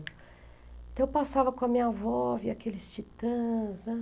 Então, eu passava com a minha avó, via aqueles titãs, né?